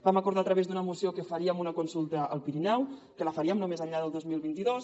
vam acordar a través d’una moció que faríem una consulta al pirineu que la faríem no més enllà del dos mil vint dos